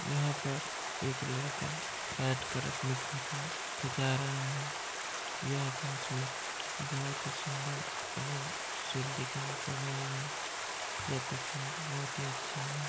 यहाँ पर एक लड़का बैठकर अपनी फोटो खींचा रहा है। यह तस्वीर बहुत ही सुंदर एवं सुशील दिखाई पड़ रही है। यह तस्वीर बहुत ही अच्छी है।